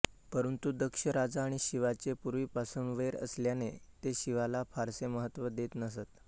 परंतु दक्ष राजा आणि शिवाचे पूर्वीपासून वैर असल्याने ते शिवाला फारसे महत्त्व देत नसत